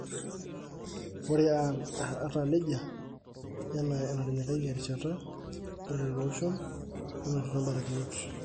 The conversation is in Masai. Ore ata nejia ,enaa enatinyikayie erishata, Ore lelo oshom nenotito mbarakinot.